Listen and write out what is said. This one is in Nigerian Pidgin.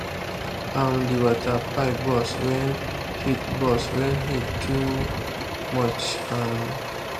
um the water pipe burst when heat burst when heat too much. um